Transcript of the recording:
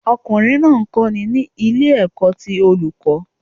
Ọkùnrin náà ń kọ́ni ní ilé ẹ̀kọ́ ti Olùkọ́